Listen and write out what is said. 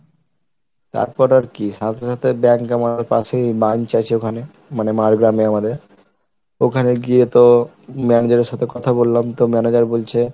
তারপর আর কি সাথে সাথে Bank manager পাশেই branch আছে ওখানে মানে মাড়গ্রামে আমাদের, ওখানে গিয়ে তো manager এর সাথে কথা বললাম তো manager বলছে